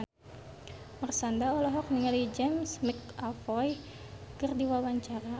Marshanda olohok ningali James McAvoy keur diwawancara